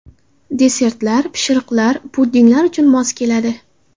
Desertlar, pishiriqlar, pudinglar uchun mos keladi.